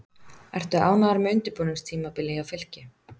Ertu ánægður með undirbúningstímabilið hjá Fylki?